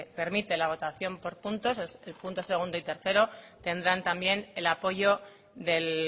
permite la votación por puntos el punto segundo y tercero tendrán también el apoyo del